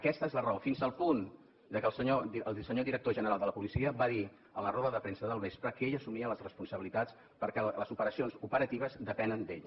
aquesta és la raó fins al punt que el senyor director general de la policia va dir en la roda de premsa del vespre que ell assumia les responsabilitats perquè les operacions operatives depenen d’ell